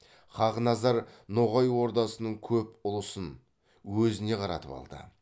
хақназар ноғай ордасының көп ұлысын өзіне қаратып алды